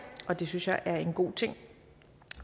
og det synes jeg er en god ting